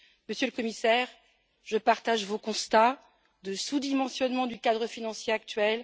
Monsieur le Commissaire, je partage votre constat de sous dimensionnement du cadre financier actuel.